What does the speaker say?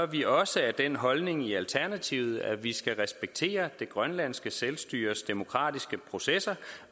vi også af den holdning i alternativet at vi skal respektere det grønlandske selvstyres demokratiske processer